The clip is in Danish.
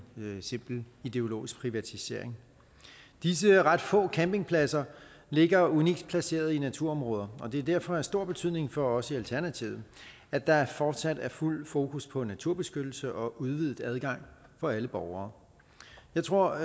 simpel ideologisk baseret privatisering disse ret få campingpladser ligger unikt placeret i naturområder og det er derfor af stor betydning for os i alternativet at der fortsat er fuldt fokus på naturbeskyttelse og udvidet adgang for alle borgere jeg tror